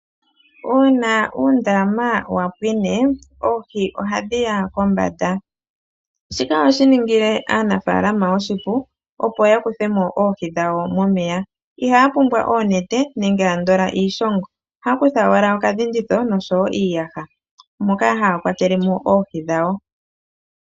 Uuna uundama wa pwine oohi ohadhi ya kombanda shika ohashi ningile aanafaalama oshipu opo ya kuthe mo oohi dhawo momeya, ihaa pumbwa oonete nenge andola iishongo, ohaya kutha owala okadhinditho noshowo iiyaha moka haya kwatele mo oohi dhawo.